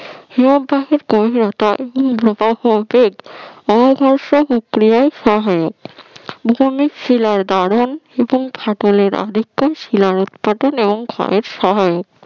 হিমবাহের গভীরতা প্রবাহের বেগ অঘর্ষ প্রক্রিয়ায় হয় ভূমি শিলার ধারন এবং ফাটলের শিলার উৎপাটন এবং ক্ষয়ের সহায়ক